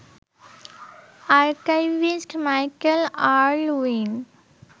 archivist Michael Erlewine